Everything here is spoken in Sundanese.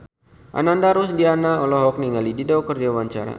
Ananda Rusdiana olohok ningali Dido keur diwawancara